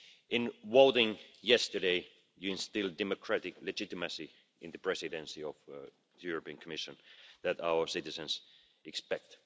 In voting yesterday, you instilled the democratic legitimacy in the Presidency of the European Commission that our citizens expect.